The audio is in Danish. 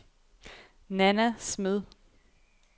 Nanna Smed